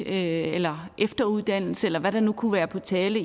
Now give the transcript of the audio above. eller efteruddannelse eller hvad der nu kunne være på tale